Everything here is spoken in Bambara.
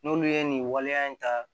N'olu ye nin waleya in ta